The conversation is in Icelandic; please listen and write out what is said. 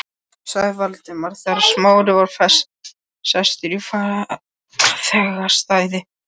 sagði Valdimar þegar Smári var sestur í farþegasætið.